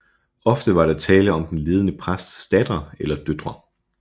Ofte var der tale om den ledende præsts datter eller døtre